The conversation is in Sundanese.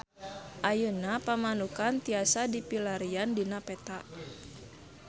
Ayeuna Pamanukan tiasa dipilarian dina peta